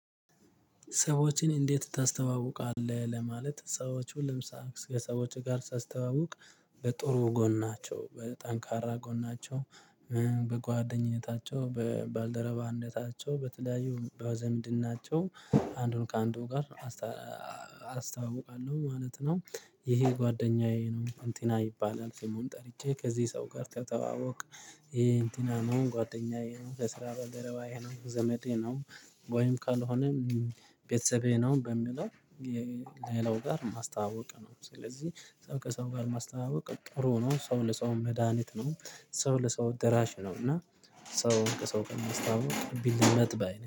ሰዎችን እንዴት ታስተዋውቃለህ ለማለት ሰዎቹን ለምሳሌ ከሰዎች ጋር ሳስተዋውቅ በጥሩ ጎናቸው በጠንካራ ጎናቸው በጓደኝነታቸው በባልደረባነታቸው በተለያዩ በዝምድናቸው አንዱን ከአንዱ ጋር አስተዋውቃለሁ ማለት ነው። ይሄ ጓደኛዬ ነው እንትና ይባላል ስሙን ጠርቼ ከዚህ ሰው ጋር ተተዋወቅ ይሄ እንትና ነው ጓደኛዬ ነው የስራ ባልደረባዬ ነው ዘመዴ ነው። ወይም ካልሆነም ቤተሰቤ ነው በሚለው ሌላው ጋር ማስተዋወቅ ነው። ስለዚህ ሰው ከሰው ጋር ማስተዋወቅ ጥሩ ነው። ሰው ለሰው መድሃኒት ነው ሰው ለሰው ደራሽ ነው። እና ሰው ከሰው ጋር ለማስተዋወቅ ቢለመድ ባይ ነኝ